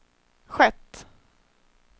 skett